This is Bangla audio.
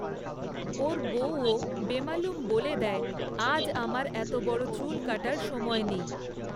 ওর বউও বেমালুম বলে দেয়, আজ আমার এত বড় চুল কাটার সময় নেই!